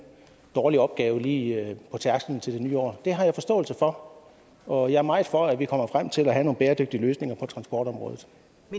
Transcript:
dårlig opgave lige på tærskelen til det nye år og det har jeg forståelse for og jeg er meget for at vi kommer frem til at få nogle bæredygtige løsninger på transportområdet